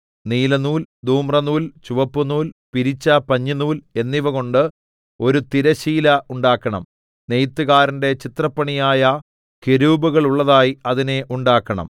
നീലനൂൽ ധൂമ്രനൂൽ ചുവപ്പുനൂൽ പിരിച്ച പഞ്ഞിനൂൽ എന്നിവകൊണ്ട് ഒരു തിരശ്ശീല ഉണ്ടാക്കണം നെയ്ത്തുകാരന്റെ ചിത്രപ്പണിയായ കെരൂബുകളുള്ളതായി അതിനെ ഉണ്ടാക്കണം